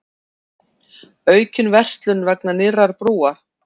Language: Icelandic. Aukin verslun vegna nýrrar brúar